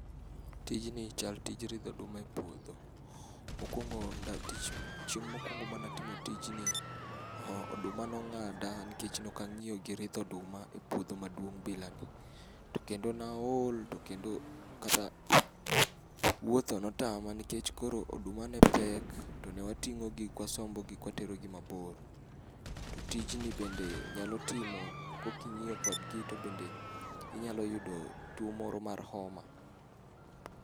Tijni chal tij ridho oduma epuodho. Mokuongo chieng' mokuongo mane atimo tijni, oduma nong'ada nikech ne ok ang'iyo gi ridho oduma epuodho maduong' bilani. To kendo ne aol to kendo kata wuotho notama nikech koro oduma ne pek tone wating'o gi kawasombogi kawaterogi mabor. To tijni bende nyalo timo kaok ing'iyo kodgi to bende inyalo yudo tuo moro mar homa.